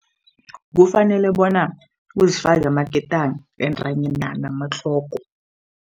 Kufanele bona uzifake amaketani entanyena namatlogo.